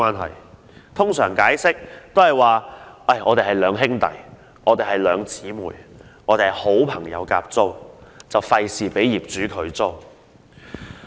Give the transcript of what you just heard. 他們通常會解釋是兩兄弟、兩姊妹或好朋友合租，以免被業主拒租。